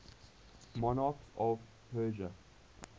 monarchs of persia